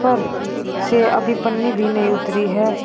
से अभी पन्नी भी नहीं उतरी है।